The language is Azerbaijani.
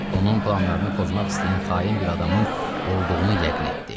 Onun planlarını pozmaq istəyən xain bir adamın olduğunu yəqin etdi.